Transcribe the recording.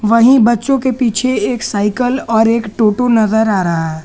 वही बच्चों के पीछे एक साइकल और एक टोटो नजर आ रहा है।